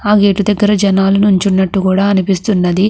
ఆ గేట్ దగ్గర జనాలు నించునట్టు కూడా అనిపిస్తున్నది.